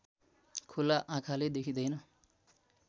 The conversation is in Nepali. खुला आँखाले देखिँदैन